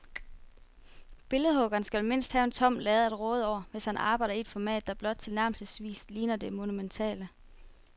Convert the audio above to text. Billedhuggeren skal mindst have en tom lade at råde over, hvis han arbejder i et format, der blot tilnærmelsesvis ligner det monumentale.